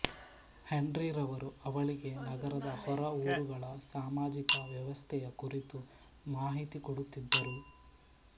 ಹೆನ್ರಿರವರು ಅವಳಿಗೆ ನಗರದ ಹೊರ ಊರುಗಳ ಸಾಮಾಜಿಕ ವ್ಯವಸ್ಥೆಯ ಕುರಿತು ಮಾಹಿತಿ ಕೊಡುತ್ತಿದ್ದರು